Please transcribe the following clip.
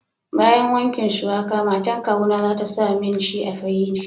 Bayan wankin suwaka, matan kawuna za ta sa mishi a firiji.